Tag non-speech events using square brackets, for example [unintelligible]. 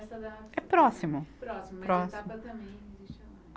[unintelligible] É próximo. Próximo, a Etapa também [unintelligible]